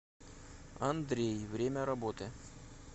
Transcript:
андрей время работы